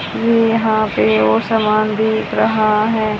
ये यहां पे वो सामान दिख रहा है।